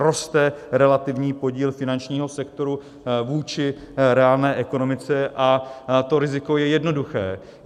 Roste relativní podíl finančního sektoru vůči reálné ekonomice a to riziko je jednoduché.